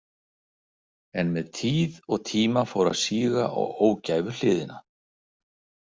En með tíð og tíma fór að síga á ógæfuhliðina.